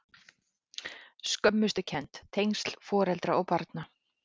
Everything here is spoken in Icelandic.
Skömmustukennd- tengsl foreldra og barna